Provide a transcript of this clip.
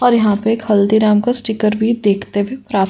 और यहाँ पर एक हल्दीराम का स्टीकर भी देखते भी प्राप्त --